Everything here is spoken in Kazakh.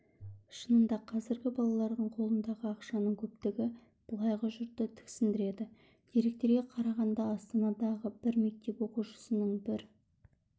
шынында қазіргі балалардың қолындағы ақшаның көптігі былайғы жұртты тіксіндіреді деректерге қарағанда астанадағы бір мектеп оқушысының бір